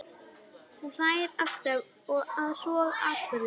Hún hlær alltaf að svona atburðum.